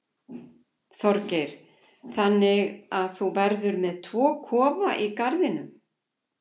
Þorgeir: Þannig að þú verður með tvo kofa í garðinum?